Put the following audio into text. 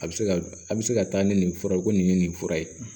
A bɛ se ka a bɛ se ka taa ni nin fura ye ko nin ye nin fura ye